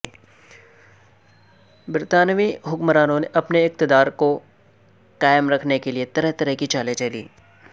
برطانوی حکمرانوں نے اپنے اقتدار کو قائم رکھنے کے لئے طرح طرح کی چالیںچلیں